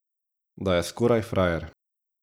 Da je skoraj frajer.